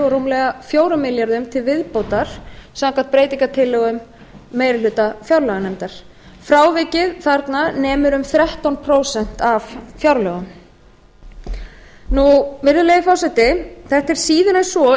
rúmlega fjórum milljörðum króna til viðbótar samkvæmt breytingartillögum meiri hluta fjárlaganefndar frávikið þarna nemur um þrettán prósent af fjárlögum virðulegi forseti þetta er síður en svo